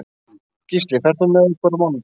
Gísli, ferð þú með okkur á mánudaginn?